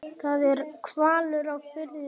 Það er hvalur á firðinum.